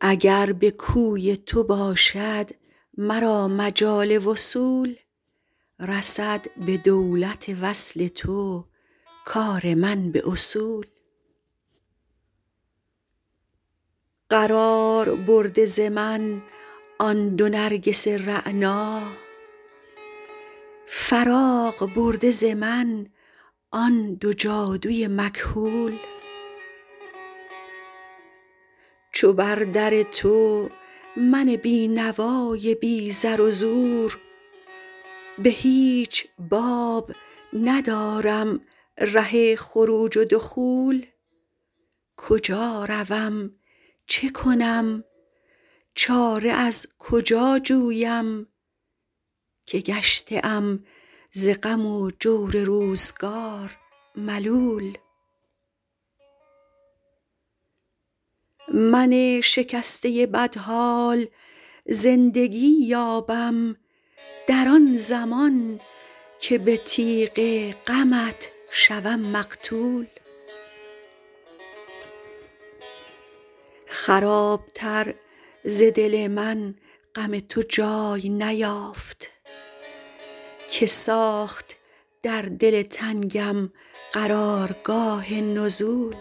اگر به کوی تو باشد مرا مجال وصول رسد به دولت وصل تو کار من به اصول قرار برده ز من آن دو نرگس رعنا فراغ برده ز من آن دو جادو ی مکحول چو بر در تو من بینوا ی بی زر و زور به هیچ باب ندارم ره خروج و دخول کجا روم چه کنم چاره از کجا جویم که گشته ام ز غم و جور روزگار ملول من شکسته بدحال زندگی یابم در آن زمان که به تیغ غمت شوم مقتول خراب تر ز دل من غم تو جای نیافت که ساخت در دل تنگم قرار گاه نزول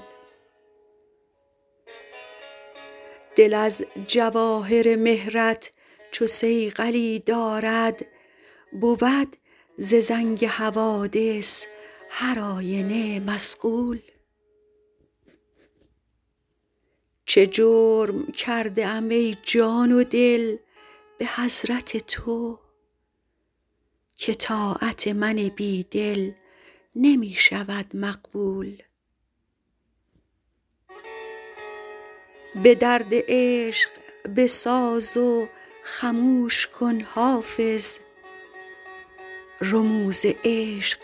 دل از جواهر مهر ت چو صیقلی دارد بود ز زنگ حوادث هر آینه مصقول چه جرم کرده ام ای جان و دل به حضرت تو که طاعت من بیدل نمی شود مقبول به درد عشق بساز و خموش کن حافظ رموز عشق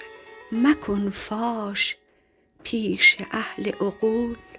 مکن فاش پیش اهل عقول